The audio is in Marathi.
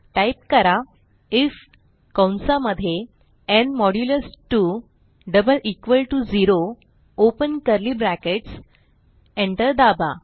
टाईप करा आयएफ कंसा मध्ये ओपन कर्ली ब्रॅकेट्स एंटर दाबा